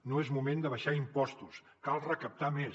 no és moment d’abaixar impostos cal recaptar més